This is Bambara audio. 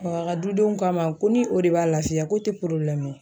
a ka dudenw k'a ma ko ni o de b'a lafiya ko tɛ ye.